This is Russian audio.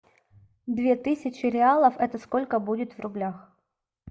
две тысячи реалов это сколько будет в рублях